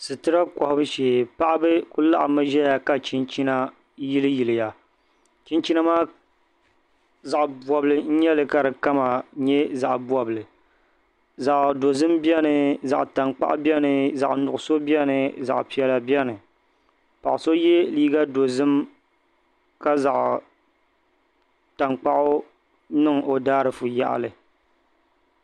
Situra kɔhibu shee paɣiba ku laɣimmi ʒiya ka chinchina yiliyiliya chinchina maa zaɣ' bɔbili n-nyɛ li ka di kama nyɛ zaɣ' bɔbili zaɣ' dɔzim beni zaɣ' taŋkpaɣu beni zaɣ' nuɣiso beni zaɣ' piɛla beni paɣ' so ye liiɡa dɔzim ka zaɣ' taŋkpaɣu niŋ o daaʒiifu yaɣili